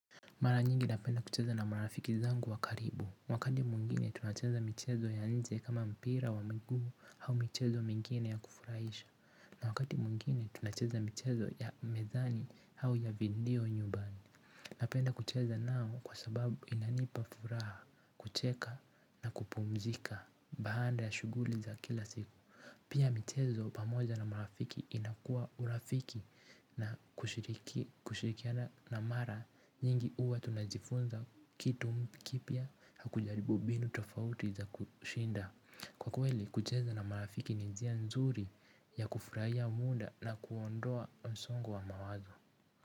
Mara nyingi napenda kucheza na marafiki zangu wa karibu. Wakati mwingine tunacheza michezo ya nje kama mpira wa miguu au michezo mingine ya kufurahisha. Na wakati mwingine tunacheza michezo ya mezani au ya video nyumbani. Napenda kucheza nao kwa sababu inanipa furaha kucheka na kupumzika baada ya shughuli za kila siku. Pia michezo pamoja na marafiki inakuwa urafiki na kushirikiana na mara nyingi huwa tunajifunza kitu kipya na kujaribu mbinu tofauti za kushinda. Kwa kweli kucheza na marafiki ni njia nzuri ya kufurahia muda na kuondoa msongo wa mawazo.